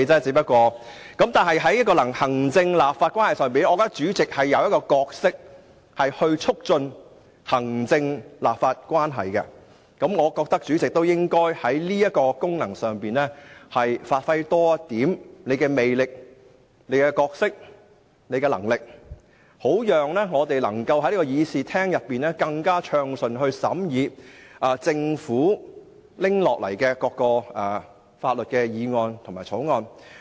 在行政立法的關係上，我認為主席擔當促進行政立法關係的角色，所以主席應在這功能上，積極發揮和展現個人魅力、角色和能力，好讓我們能夠更暢順地在會議廳內審議政府提交的各項法案。